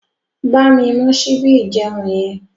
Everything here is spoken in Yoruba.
Bámi mú síbí ìjeun yẹn.